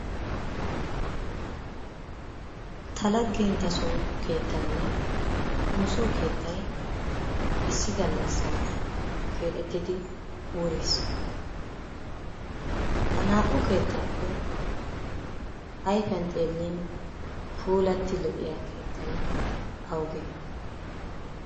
Ta laggentta soo keettaynne nu soo keettay issi gallassan keexettidi wuris. Ha naa"u keettaappe ayifiyan xeellin puulatti lo"iyaa keettay awugee?